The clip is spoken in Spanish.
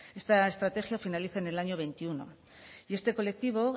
esta estrategia finaliza en el año veintiuno y este colectivo